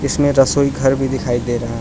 इसमें रसोई घर भी दिखाई दे रहा--